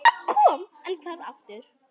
Hann kom og hvarf aftur.